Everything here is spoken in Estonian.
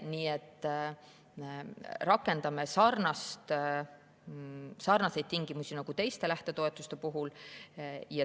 Nii et rakendame sarnaseid tingimusi nagu teiste lähtetoetuste puhul.